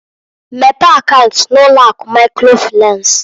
Mepee akaunt n'ụlọ akụ microfinanceǃ